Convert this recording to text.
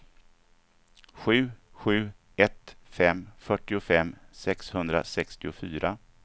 sju sju ett fem fyrtiofem sexhundrasextiofyra